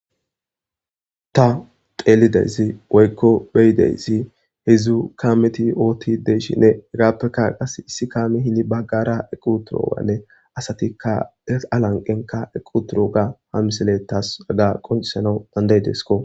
ta xeelidiyssi woykko beyidiyssi hedzdzu kaameti oottide'eshinne hegappeka qas issi kaami hini baggara eqi utoganne asatikka es alanqenka equ turoga ha misiley taas haga qoncisanau dandayidesko